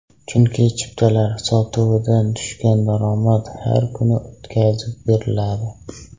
Chunki chiptalar sotuvidan tushgan daromad har kuni o‘tkazib beriladi.